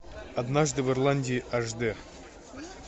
однажды в ирландии аш де